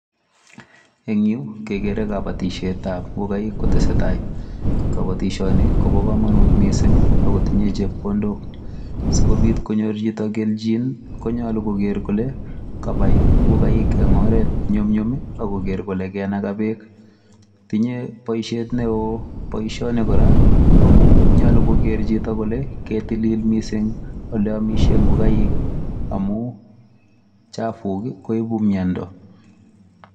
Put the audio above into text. En yu kegere kobotishetab ngokaik kotesetai. Kobotisioni kobo komonut mising ago tinye chepkondok. Asi kobiit konyor chito kelchin konyolu koger kole kabai ngokaik en oret ne nyumnyum ago ker kole kainaga beek. Tinye boisiet neo boisioni kora amun nyolu koger chito kole keitilil mising ole amishen ngokaik amun uchafuk koibu miondo.